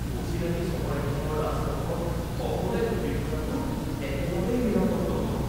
অচিনাকি চহৰ এখনৰ ৰাজপথত অকলে ঘূৰি ফুৰাটো একেবাৰেই নিৰাপদ নহয়